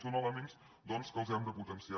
són elements que els hem de potenciar